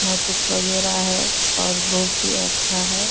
नट उट वगैरा है और बहुत ही अच्छा है।